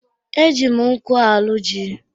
E jì m nkụ arụ jí.